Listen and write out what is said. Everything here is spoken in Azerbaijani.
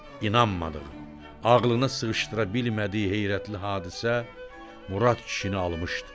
İnanmadığı, ağılına sığışdıra bilmədiyi heyrətli hadisə Murad kişini almışdı.